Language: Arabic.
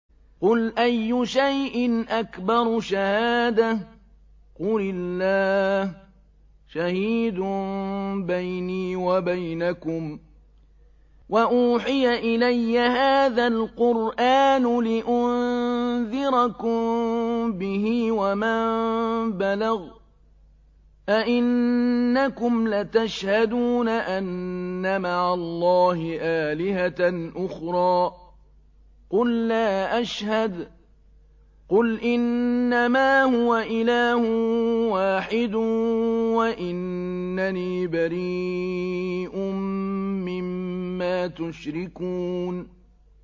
قُلْ أَيُّ شَيْءٍ أَكْبَرُ شَهَادَةً ۖ قُلِ اللَّهُ ۖ شَهِيدٌ بَيْنِي وَبَيْنَكُمْ ۚ وَأُوحِيَ إِلَيَّ هَٰذَا الْقُرْآنُ لِأُنذِرَكُم بِهِ وَمَن بَلَغَ ۚ أَئِنَّكُمْ لَتَشْهَدُونَ أَنَّ مَعَ اللَّهِ آلِهَةً أُخْرَىٰ ۚ قُل لَّا أَشْهَدُ ۚ قُلْ إِنَّمَا هُوَ إِلَٰهٌ وَاحِدٌ وَإِنَّنِي بَرِيءٌ مِّمَّا تُشْرِكُونَ